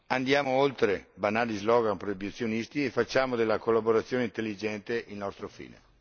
Andiamo oltre banali slogan proibizionisti e facciamo della collaborazione intelligente il nostro fine.